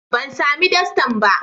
Ban sami dastan ba.